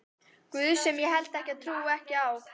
guð sem ég held ég trúi ekki á.